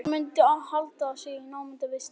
Þær mundu halda sig í námunda við stekkinn.